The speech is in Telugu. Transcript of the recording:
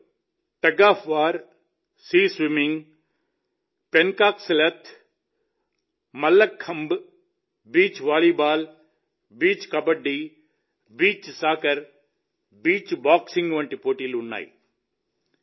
వీటిలో tug of war sea swimming pencak silat mallakhamb beach volleyball beach kabaddi beach soccer beach boxing వంటి పోటీలు ఉన్నాయి